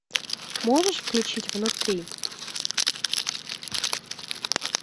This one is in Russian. можешь включить внутри